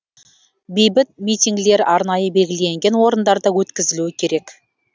бейбіт митингілер арнайы белгіленген орындарда өткізілу керек